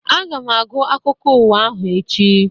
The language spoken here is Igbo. Aga m agụ akwụkwọ ụwa ahụ echi